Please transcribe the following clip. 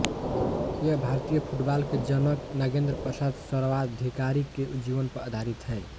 यह भारतीय फुटबॉल के जनक नागेंद्र प्रसाद सर्वाधिकारी के जीवन पर आधारित है